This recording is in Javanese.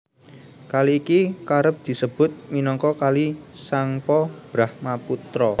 Kali iki kerep disebut minangka Kali Tsangpo Brahmaputra